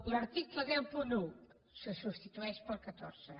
l’article cent i un se substitueix pel catorze